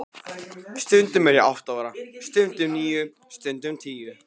Stundum er ég átta ára, stundum níu, stundum tíu.